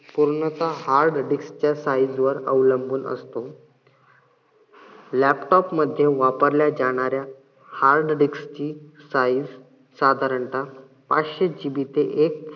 पूर्णतः hard disc च्या size वर अवलंबून असतो. laptop मध्ये वापरल्या जाणाऱ्या hard disc ची size साधारणता पाचशे GB ते एक